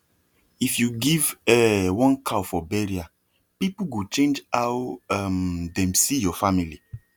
if you give um one cow for burial people go change how um dem see your family